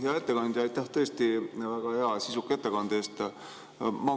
Hea ettekandja, aitäh tõesti väga hea ja sisuka ettekande eest!